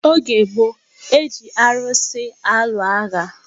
Oge gboo, e ji arusi alụ agha.